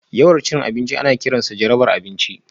Yawan cin abinci ana kiransa jarabar abinci